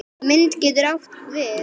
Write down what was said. Mynd getur átt við